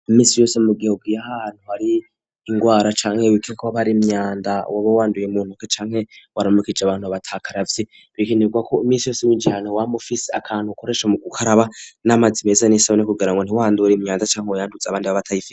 Iminsi yose mugihugu ye hantu hari ingwara canke wikeka ko hoba hari imyanda waba wanduye mu ntoko canke waramukije abantu abatakaravye bikenirwa ko iminsi yose mugihane wa mufisi akantu akoresha mu gukaraba n'amazi meza n'isabone kugira ngo ntiwandure imyanda canke uyandutse abandi b'abatayife.